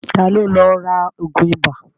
Ta ló lọ ra ògùn ibà?